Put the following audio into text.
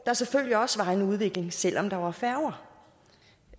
var selvfølgelig også en udvikling selv om der var færger